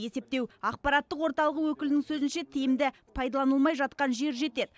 есептеу ақпараттық орталығы өкілінің сөзінше тиімді пайдаланылмай жатқан жер жетеді